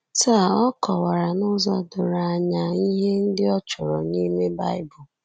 Taa a kọwara n’ụzọ doro anya ihe ndị ọ chọrọ n’ime Baịbụl.